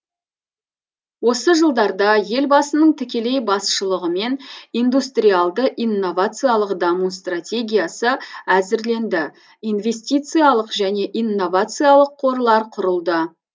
осы жылдарда елбасының тікелей басшылығымен индустриалды инновациялық даму стратегиясы әзірленді инвестициялық және инновациялық қорлар құрылды